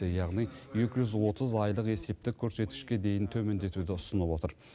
яғни екі жүз отыз айлық есептік көрсеткішке дейін төмендетуді ұсынып отыр